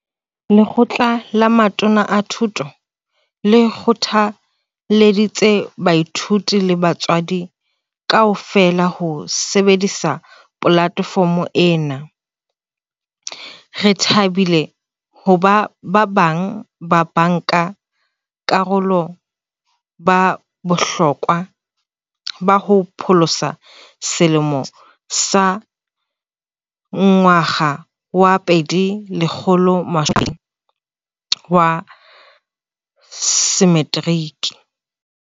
Lekgotla la Matona a Thuto le kgothalleditse baithuti le batswadi kaofela ho sebedisa polatefomo ena. "Re thabile hoba ba bang ba banka karolo ba bohlokwa ba ho pholosa selemo sa 2020 sa Meteriki."